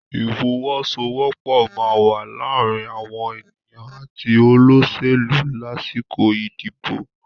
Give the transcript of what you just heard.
Ìfọwọ́sowọ́pọ̀ máa wà láàrin àwọn ènìyàn àti olóṣèlú lásìkò ìdìbò.